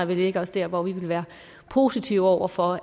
vi lægger os der hvor vi vil være positive over for